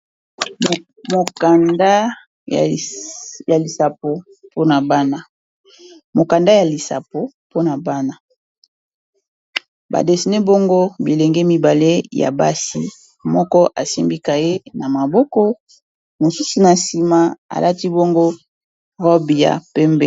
Mokanda ya lisapo mpona bana badesene bongo bilenge mibale ya basi moko esimbika ye na maboko mosusi na nsima alati bongo rob ya pembe.